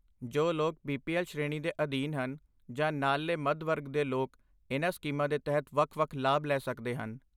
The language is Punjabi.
ਜੋ ਲੋਕ ਬੀਪੀਐਲ ਸ਼੍ਰੇਣੀ ਦੇ ਅਧੀਨ ਹਨ, ਜਾਂ ਨਾਲਲੇ ਮੱਧ ਵਰਗ ਦੇ ਲੋਕ ਇਨ੍ਹਾਂ ਸਕੀਮਾਂ ਦੇ ਤਹਿਤ ਵੱਖ ਵੱਖ ਲਾਭ ਲੈ ਸਕਦੇ ਹਨ